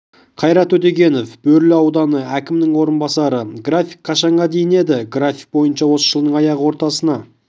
қайрат өтегенов бөрлі ауданы әкімінің орынбасары график қашанға дейін еді график бойынша осы жылдың аяғы ортасына